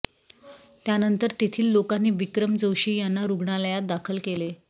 त्यानंतर तेथील लोकांनी विक्रम जोशी यांना रुग्णालयात दाखल केले